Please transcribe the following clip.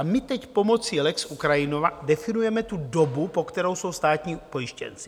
A my teď pomocí lex Ukrajina definujeme tu dobu, po kterou jsou státní pojištěnci.